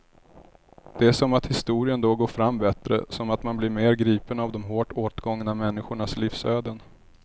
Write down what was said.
Det är som att historien då går fram bättre, som att man blir mer gripen av de hårt åtgångna människornas livsöden.